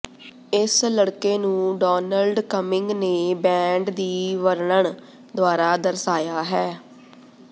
ਇਸ ਲੜਕੇ ਨੂੰ ਡੌਨਲਡ ਕਮਿੰਗ ਨੇ ਬੈਂਡ ਦੀ ਵਰਣਨ ਦੁਆਰਾ ਦਰਸਾਇਆ ਹੈ